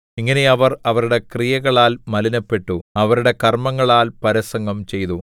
ഇങ്ങനെ അവർ അവരുടെ ക്രിയകളാൽ മലിനപ്പെട്ടു അവരുടെ കർമ്മങ്ങളാൽ പരസംഗം ചെയ്തു